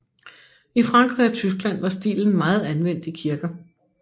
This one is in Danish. I Frankrig og Tyskland var stilen meget anvendt i kirker